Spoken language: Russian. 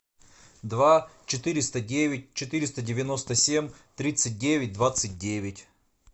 два четыреста девять четыреста девяносто семь тридцать девять двадцать девять